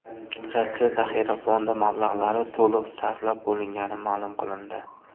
Rossiya zaxira fondi mablag‘lari to‘liq sarflab bo‘lingani ma’lum qilindi.